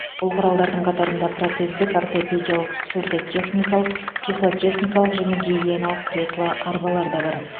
бұл құралдардың қатарында протездік ортопедиялық сурдотехникалық тифлотехникалық және гигиеналық кресло арбалар да бар